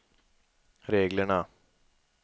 reglerna